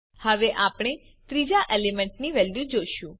હવે આપણે ત્રીજા એલિમેન્ટની વેલ્યુ જોશું